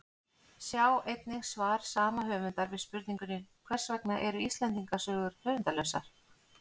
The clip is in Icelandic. Sjá einnig svar sama höfundar við spurningunni Hvers vegna eru Íslendingasögur höfundarlausar?